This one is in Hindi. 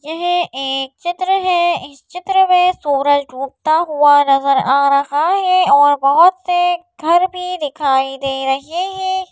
यह एक चित्र है इस चित्र में सूरज डूबता हुआ नजर आ रहा है और बहुत से घर भी दिखाई दे रहे हैं।